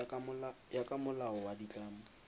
ya ka molao wa ditlamo